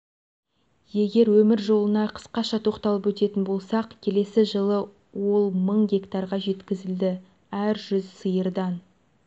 егер өмір жолына қысқаша тоқталып өтетін болсақ келесі жылы ол мың гектарға жеткізілді әр жүз сиырдан